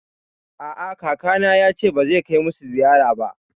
A'a, kakana yace ba zai kai musu ziyara ba